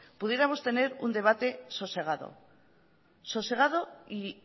pudiéramos tener un debate sosegado sosegado y